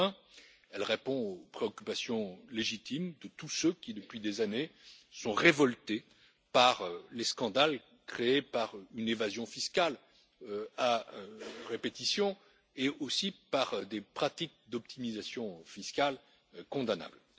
Enfin, elle répond aux préoccupations légitimes de tous ceux qui, depuis des années, sont révoltés par les scandales créés par une évasion fiscale à répétition et aussi par des pratiques d'optimisation fiscale condamnables.